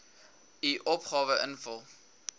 u opgawe invul